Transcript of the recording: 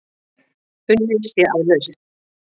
Unnið sé að lausn.